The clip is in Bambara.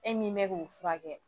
E min bɛ k'u furakɛ